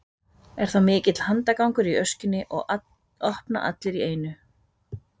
er þá mikill handagangur í öskjunni og opna allir í einu